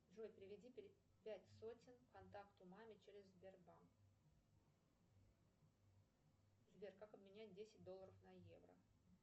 джой переведи пять сотен контакту мама через сбербанк сбер как обменять десять долларов на евро